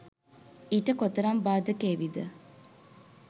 ඊට කොතරම් බාධක ඒවිද?